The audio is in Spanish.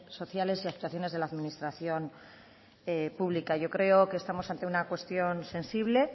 sociales y actuaciones de la administración pública yo creo que estamos ante una cuestión sensible